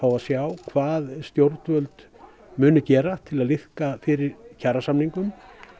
og sjá hvað stjórnvöld muni gera til að liðka fyrir kjarasamningum